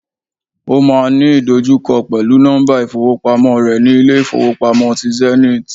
Ó máa n ní ìdojúkọ pèlúu nọ́mbà ìfowópamó re ni Ilé ìfowópamọ́ ti Zenith